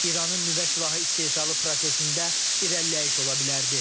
İranın nüvə silahı istehsalı prosesində irəliləyiş ola bilərdi.